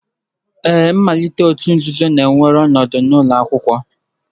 Ee, mmalite òtù nzuzo na-ewere ọnọdụ n'ụlọ akwụkwọ